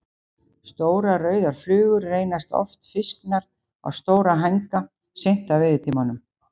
Stórar, rauðar flugur reynast oft fisknar á stóra hænga seint á veiðitímanum.